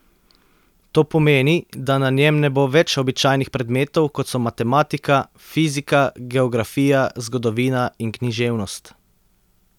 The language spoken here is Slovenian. To pomeni, da na njem ne bo več običajnih predmetov, kot so matematika, fizika, geografija, zgodovina in književnost.